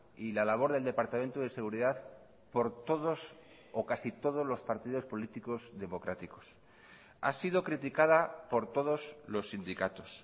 y la labor del departamento de seguridad por todos o casi todos los partidos políticos democráticos ha sido criticada por todos los sindicatos